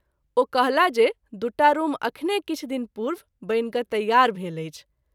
ओ कहला जे दुटा रूम अखने किछु दिन पूर्व बनि क’ तैयार भेल अछि।